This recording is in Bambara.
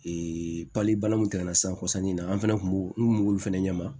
pali balan min tɛmɛna san kɔ sanni na an fɛnɛ kun b'o n kun m'olu fɛnɛ ɲɛma